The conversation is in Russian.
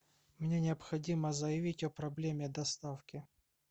мне необходимо заявить о проблеме доставки